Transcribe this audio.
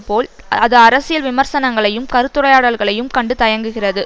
போல் அது அரசியல் விமர்சனங்களையும் கருத்துரையாடல்களையும் கண்டு தயங்குகிறது